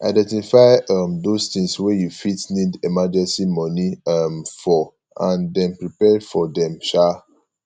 identify um those things wey you fit need emergency money um for and then prepare for them um